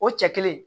O cɛ kelen